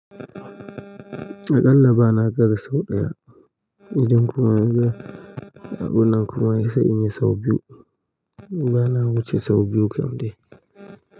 Aƙalla bana gara sau ɗaya, idan kuma ruwa a gunan kuma ya sa in yi sau biyu. Bana wuce sau biyu kam dai.